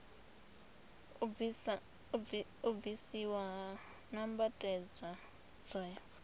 u bvisiwa ha nambatedzwa tswayo